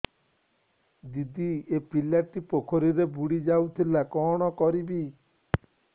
ଦିଦି ଏ ପିଲାଟି ପୋଖରୀରେ ବୁଡ଼ି ଯାଉଥିଲା କଣ କରିବି